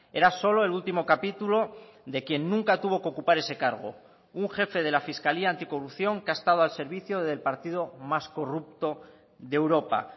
era solo el último capítulo de quien nunca tuvo que ocupar ese cargo un jefe de la fiscalía anticorrupción que ha estado al servicio del partido más corrupto de europa